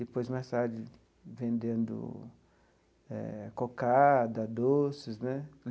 Depois, mais tarde, vendendo eh cocada, doces né.